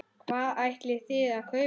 Hvað ætlið þið að kaupa?